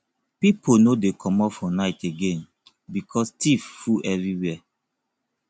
pipo no dey comot for night again because tiff full everywhere